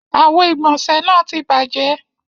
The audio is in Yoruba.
Àwo-ìgbọ̀nṣẹ̀ náà ti bàjẹ́.